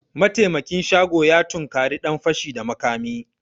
Mataimakin shago ya tunkari dan fashi da makami